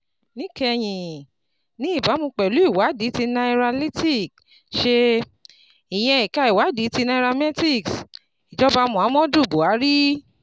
Níkẹyìn: Ní ìbámu pẹ̀lú ìwádìí tí Nairalytics ṣe, ìyẹn ẹ̀ka ìwádìí ti nairametrics ìjọba Muhammadu Buhari